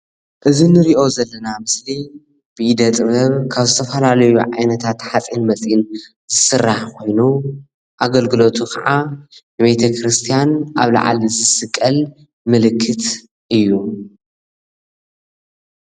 እዚ ንሪኦ ዘለና ምስሊ ብኢደ-ጥበብ ካብ ዝተፈላለዩ ዓይነታት ሓፂን መፂን ዝስራሕ ኮይኑ ኣገልግሎቱ ካዓ ንቤተ-ክርስትያን ኣብ ላዕሊ ዝስቀል ምልክት እዩ፡፡